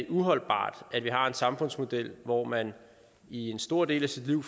uholdbart at vi har en samfundsmodel hvor man i en stor del af sit liv